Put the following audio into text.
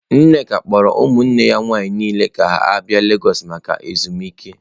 Nneka kpọrọ ụmụnne ya nwanyị niile ka ha bịa legọs maka ezumike.